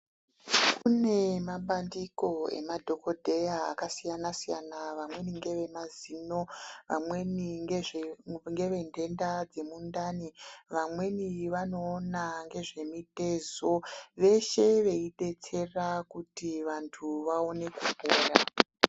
Kune mabandiko emadhokodheya akasiyana siyana vamweni ngevemazino vamweni ngevendenda dzemundani vamweni vanoona nezvemuztezo vese veidetsera kuti vanhu vaone kupona.